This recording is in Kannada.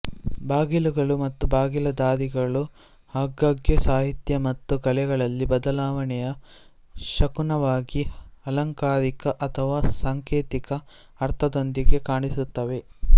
ಬಾಗಿಲುಗಳು ಮತ್ತು ಬಾಗಿಲ ದಾರಿಗಳು ಆಗಾಗ್ಗೆ ಸಾಹಿತ್ಯ ಮತ್ತು ಕಲೆಗಳಲ್ಲಿ ಬದಲಾವಣೆಯ ಶಕುನವಾಗಿ ಅಲಂಕಾರಿಕ ಅಥವಾ ಸಾಂಕೇತಿಕ ಅರ್ಥದೊಂದಿಗೆ ಕಾಣಿಸುತ್ತವೆ